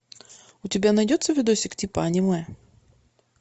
у тебя найдется видосик типа аниме